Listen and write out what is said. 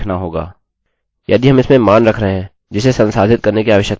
यदि हम इसमें मान रख रहे हैं जिसे संसाधित करने की आवश्यकता है हम उन्हें यहाँ अन्दर रखेंगे